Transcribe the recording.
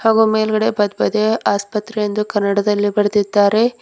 ಹಾಗು ಮೇಲ್ಗಡೆ ಭದ್ಭದೆ ಆಸ್ಪತ್ರೆ ಎಂದು ಕನ್ನಡದಲ್ಲಿ ಬರೆದಿದ್ದಾರೆ.